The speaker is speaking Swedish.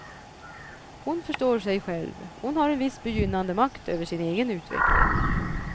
Hon förstår sig själv, hon har en viss begynnande makt över sin egen utveckling.